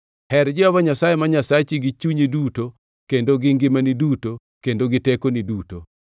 Her Jehova Nyasaye ma Nyasachi gi chunyi duto kendo gi ngimani duto kendo gi tekoni duto.